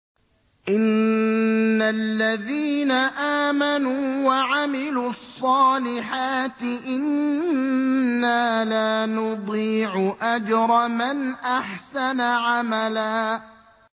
إِنَّ الَّذِينَ آمَنُوا وَعَمِلُوا الصَّالِحَاتِ إِنَّا لَا نُضِيعُ أَجْرَ مَنْ أَحْسَنَ عَمَلًا